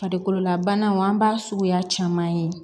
Farikololabanaw an b'a suguya caman ye